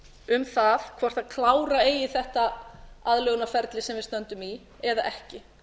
um það hvort klára eigi þetta aðlögunarferli sem við stöndum í eða ekki